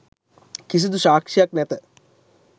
කිසිදු සාක්‍ෂියක් නැත.